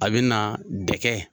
A be na dɛkɛ.